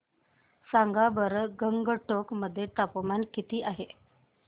सांगा बरं गंगटोक मध्ये तापमान किती आहे